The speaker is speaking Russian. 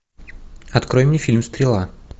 открой мне фильм стрела